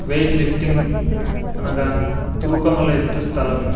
Wait lifting అనగా తూకములెత్తు స్థలము.